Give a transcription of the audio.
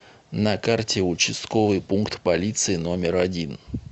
на карте участковый пункт полиции номер один